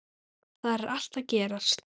Þar er allt að gerast.